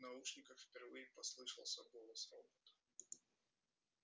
в наушниках впервые послышался голос робота